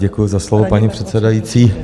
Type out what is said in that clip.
Děkuji za slovo, paní předsedající.